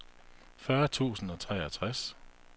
fyrre tusind og treogtres